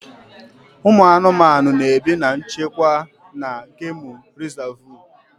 Ụmụ anụmanụ na-ebi na nchekwa na gemụ rizavụ.